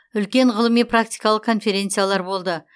үлкен ғылыми практикалық конференциялар болды